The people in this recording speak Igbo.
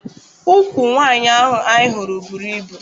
Ụkwụ nwaanyị ahụ anyị hụrụ bụrụ ibu.